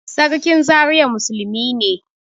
Sarkin Zariya musulmi ne